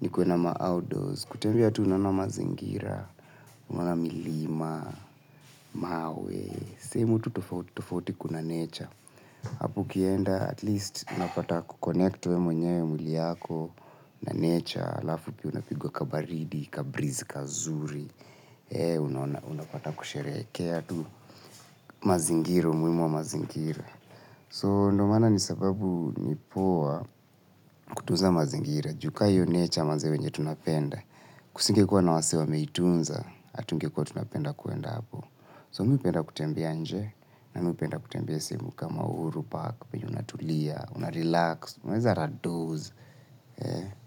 ni kuenda ma outdoors. Kutembea tu unaona mazingira, unaona milima, mawee, sehemu tu tofauti tofauti kuna nature. Hapo ukienda at least unapata kukonect we mwenyewe mwili yako na nature alafu pia unapigwa kabaridi, kabrizi, kazuri. Unapata kusherehekea tu mazingiro, umuhimu wa mazingira. So, ndo maana nisababu nipoa kutuza mazingira, juu kaa hiyo nature mazee venye tunapenda, kusinge kuwa na wasee wameitunza, hatunge kuwa tunapenda kuenda hapo. So, mi hupenda kutembea nje, na mi hupenda kutembea sehemu kama uhuru, park, unatulia, unarelax, unaweza hata doze.